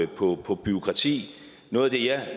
på på bureaukrati noget af det jeg